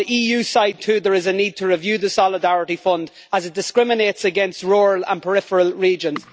On the EU side, too, there is a need to review the Solidarity Fund, as it discriminates against rural and peripheral regions.